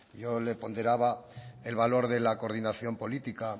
yo le ponderaba el valor de la coordinación política